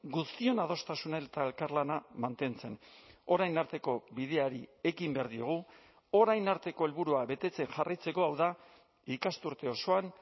guztion adostasuna eta elkarlana mantentzen orain arteko bideari ekin behar diogu orain arteko helburua betetzen jarraitzeko hau da ikasturte osoan